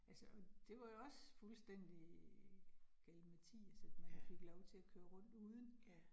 Altså og det var jo også fuldstændig galimatias, at man fik lov til at køre rundt uden